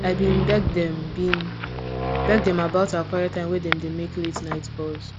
i been beg dem been beg dem about our quiet time when dem they make late night calls